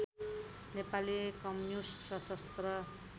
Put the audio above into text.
Nepali communist सशस्त्र